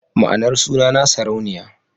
Ma'anar sunana Sarauniya.